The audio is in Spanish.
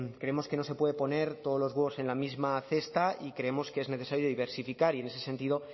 creemos que no se puede poner todos los huevos en la misma cesta y creemos que es necesario diversificar y en ese sentido